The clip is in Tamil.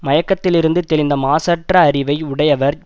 மயக்கத்திலிருந்து தெளிந்த மாசற்ற அறிவை உடையவர்